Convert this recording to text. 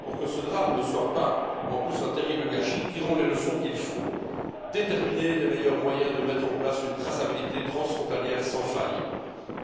Pour que ce drame ne soit pas en plus un terrible gâchis, tirons les leçons qu'il faut déterminer les meilleurs moyens de mettre en place une traçabilité transfrontalière sans faille